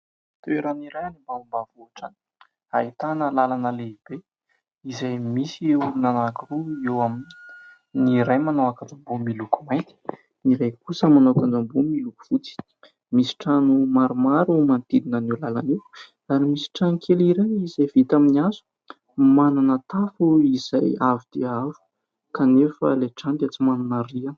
Toerana iray any ambanimbanivohitra any ahitana lalana lehibe izay misy olona anankiroa eo aminy. Ny iray manao akanjo ambony miloko mainty, ny iray kosa manao akanjo ambony miloko fotsy. Misy trano maromaro manodidina an'io lalana io ary misy trano kely iray izay vita amin'ny hazo, manana tafo izay avo dia avo. Kanefa ilay trano dia tsy manana rihana.